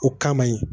O kama ye